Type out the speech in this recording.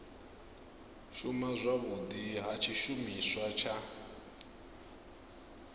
shuma zwavhudi ha tshishumiswa tsha